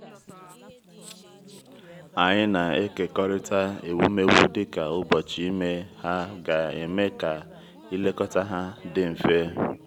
anyị na-ekekọrịta ewumewụ dịka ụbọchị ime ha ga-eme ka ilekọta ha dị mfe.